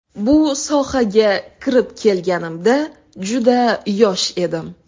Bu sohaga kirib kelganimda juda yosh edim.